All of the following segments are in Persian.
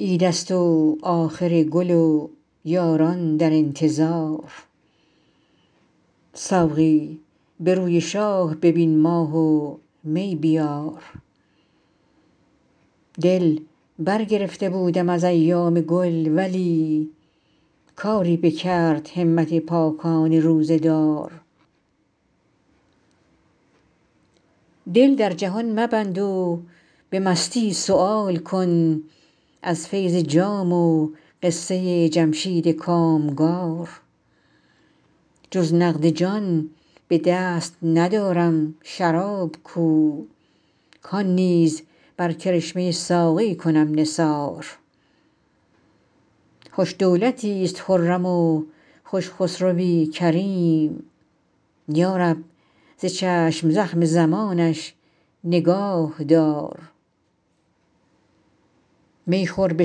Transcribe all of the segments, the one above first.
عید است و آخر گل و یاران در انتظار ساقی به روی شاه ببین ماه و می بیار دل برگرفته بودم از ایام گل ولی کاری بکرد همت پاکان روزه دار دل در جهان مبند و به مستی سؤال کن از فیض جام و قصه جمشید کامگار جز نقد جان به دست ندارم شراب کو کان نیز بر کرشمه ساقی کنم نثار خوش دولتیست خرم و خوش خسروی کریم یا رب ز چشم زخم زمانش نگاه دار می خور به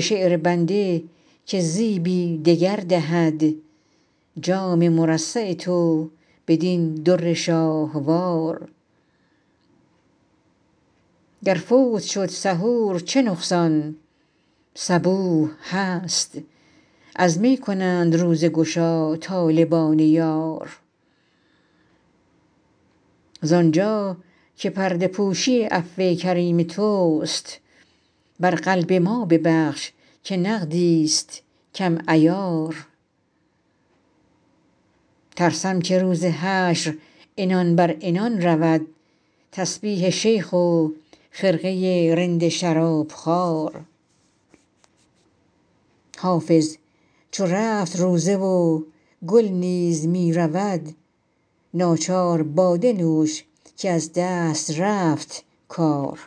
شعر بنده که زیبی دگر دهد جام مرصع تو بدین در شاهوار گر فوت شد سحور چه نقصان صبوح هست از می کنند روزه گشا طالبان یار زانجا که پرده پوشی عفو کریم توست بر قلب ما ببخش که نقدیست کم عیار ترسم که روز حشر عنان بر عنان رود تسبیح شیخ و خرقه رند شرابخوار حافظ چو رفت روزه و گل نیز می رود ناچار باده نوش که از دست رفت کار